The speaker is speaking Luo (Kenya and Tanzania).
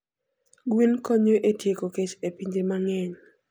Gwen konyo e tieko kech e pinje mang'eny.